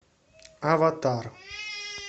аватар